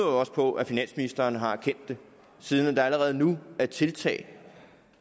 også på at finansministeren har erkendt det siden der allerede nu er tiltag